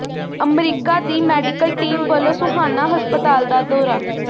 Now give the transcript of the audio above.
America ਦੀ medical team ਵੱਲੋਂ ਸੋਹਾਣਾ ਹਸਪਤਾਲ ਦਾ ਦੌਰਾ